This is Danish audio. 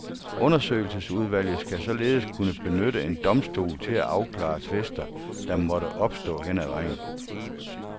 Undersøgelsesudvalget skal således kunne benytte en domstol til at afklare tvister, der måtte opstå hen ad vejen.